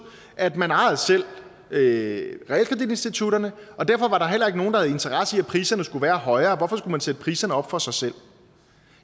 at man selv ejede realkreditinstitutterne og derfor var der heller ikke nogen der havde interesse i at priserne skulle være højere hvorfor skulle man sætte priserne op for sig selv